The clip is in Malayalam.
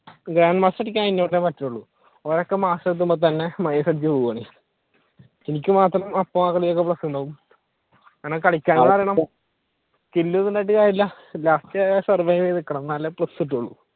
grand master അടിക്കാൻ kill ഒന്നും ഉണ്ടായിട്ട് കാര്യമില്ല last survive ചെയ്തു നിക്കണം എന്നാലേ plus കിട്ടോളൂ